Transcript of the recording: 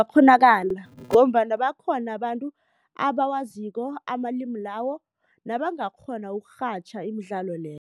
Kungakghonakala ngombana bakhona abantu abawaziko amalimi lawo nabangakghona ukurhatjha imidlalo leyo.